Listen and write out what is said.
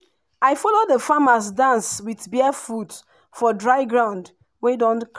i follow the farmers dance with bare foot for dry ground wey don